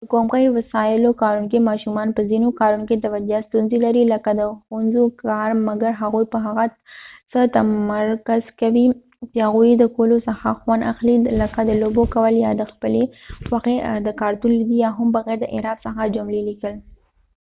د کومکې وسایلو کاروونکې ماشومان په ځینو کارونو کې توجه ستونزی لري لکه د ښوونځی کار ،مګر هغوي په هغه څه تمرکز کوي چې هغوي یې د کولو څخه خوند اخلی لکه د لوبو کول یا د خپلی خوښی د کارتون لیدي یا هم بغیر د اعراب څخه جملی لیکل